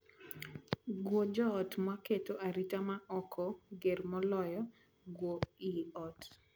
Guo joot maketo arita ma oko ger moloyo guo ii ot.